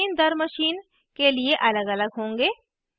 output machineदरmachine के लिए अलगअलग होंगे